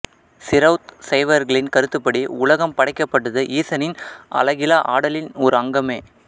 சிரௌத்த சைவர்களின் கருத்துப்படி உலகம் படைக்கப்பட்டது ஈசனின் அலகிலா ஆடலின் ஒரு அங்கமே